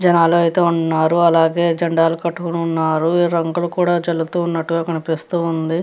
జనాలు అయితే ఉన్నారు అలాగే జెండాలు పట్టుకుని ఉన్నారు రంగులు కూడా జల్లుతూ ఉన్నట్టుగా కనిపిస్తూ ఉంది.